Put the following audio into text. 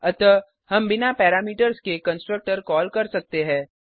अतः हम बिना पैरामीटर्स के कंस्ट्रक्टर कॉल कर सकते है